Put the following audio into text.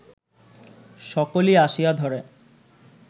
সকলি আসিয়া ধরে